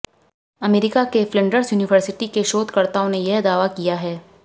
America के Flinders university के शोधकर्ताओं ने यह दावा किया है